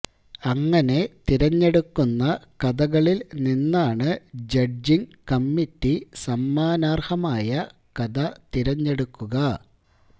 അങ്ങനെ തിരഞ്ഞെടുക്കു ന്ന കഥകളിൽ നിന്നാണ് ജഡ്ജിംഗ് കമ്മിറ്റി സമ്മാനർഹമായ കഥ തിരഞ്ഞെടുക്കുക